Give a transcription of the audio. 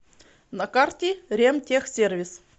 на карте ремтехсервис